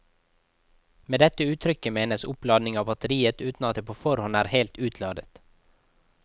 Med dette uttrykket menes opplading av batteriet uten at det på forhånd er helt utladet.